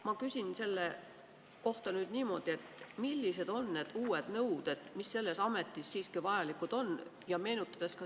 Ma küsin selle kohta nüüd niimoodi: millised on need uued nõuded, mis selles ametis siiski vajalikud on?